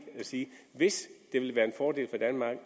at sige at hvis det vil være en fordel for danmark